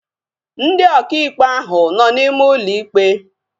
Ndị ọkà ikpe ahu nọ n'ime ụlọ ikpe